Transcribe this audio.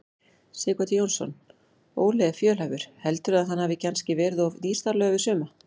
Sighvatur Jónsson: Óli er fjölhæfur, heldurðu að hann hafi kannski verið of nýstárlegur fyrir suma?